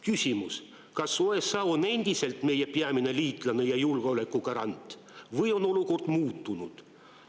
Küsimus: kas USA on endiselt meie peamine liitlane ja julgeoleku garant või on olukord muutunud?